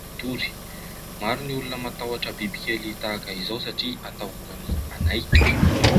matory. Maro ny olona matahotra biby kely tahaka izao satria atahorany anaikitra.